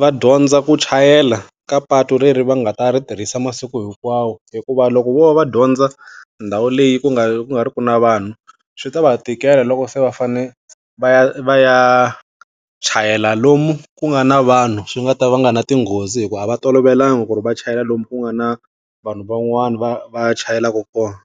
va dyondza ku chayela ka patu leri va nga ta ri tirhisa masiku hinkwawo. Hikuva loko vo va va dyondza ndhawu leyi ku nga ku nga ri ki na vanhu, swi ta va tikela loko se va fanele va ya va ya chayela lomu ku nga na vanhu, swi nga ta va nga na tinghozi hikuva a va tolovelanga ku ri va chayela lomu ku nga na vanhu van'wani va va ya chayelaku kona.